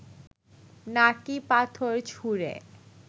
নাকি পাথর ছুঁড়ে